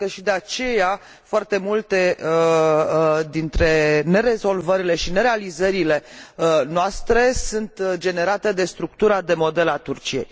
Cred că și de aceea foarte multe dintre nerezolvările și nerealizările noastre sunt generate de structura de model al Turciei.